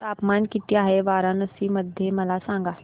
तापमान किती आहे वाराणसी मध्ये मला सांगा